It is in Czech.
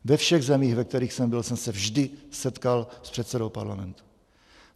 Ve všech zemích, ve kterých jsem byl, jsem se vždy setkal s předsedou parlamentu.